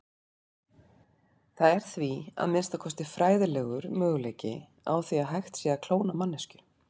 Það er því, að minnsta kosti fræðilegur, möguleiki á því hægt sé að klóna manneskju.